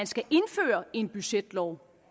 skal indføre en budgetlov